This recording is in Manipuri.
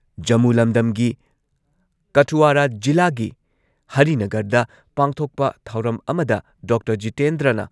ꯖꯃꯨ ꯂꯝꯗꯝꯒꯤ ꯀꯊꯨꯋꯥꯔꯥ ꯖꯤꯂꯥꯒꯤ ꯍꯔꯤꯅꯒꯔꯗ ꯄꯥꯡꯊꯣꯛꯄ ꯊꯧꯔꯝ ꯑꯃꯗ ꯗꯣꯛꯇꯔ ꯖꯤꯇꯦꯟꯗ꯭ꯔꯅ